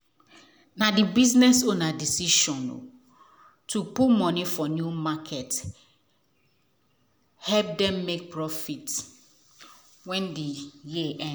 na the business owner decision to put money for new market help them make profit wen the year end.